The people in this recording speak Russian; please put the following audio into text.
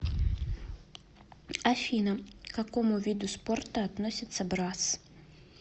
афина к какому виду спорта относится брасс